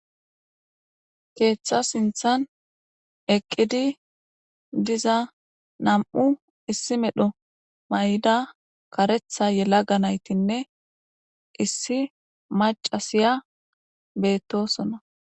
Keeththa sinththan eqqidi diza nam'u issi medho mayida karetha yelaga naytinne issi maccasiya beetosona.